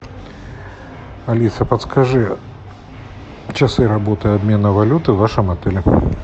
алиса подскажи часы работы обмена валюты в вашем отеле